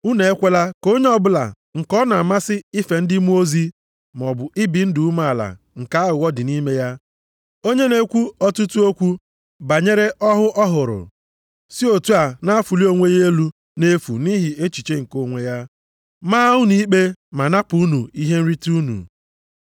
Unu ekwela ka onye ọbụla nke ọ na-amasị ife ndị mmụọ ozi maọbụ ibi ndụ umeala nke aghụghọ dị nʼime ya, onye na-ekwu ọtụtụ okwu banyere ọhụ ọ hụrụ, si otu a na-afụli onwe ya elu nʼefu nʼihi echiche nke onwe ya, maa unu ikpe ma napụ unu ihe nrite unu.